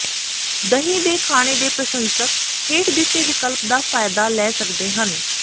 ਦਹੀਂ ਦੇ ਖਾਣੇ ਦੇ ਪ੍ਰਸ਼ੰਸਕ ਹੇਠ ਦਿੱਤੇ ਵਿਕਲਪ ਦਾ ਫਾਇਦਾ ਲੈ ਸਕਦੇ ਹਨ